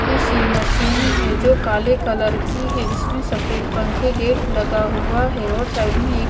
इसी मशीन है जो काले कलर की है जिसमें सफेद पंखे गेट लगा हुआ है और साइड में एक--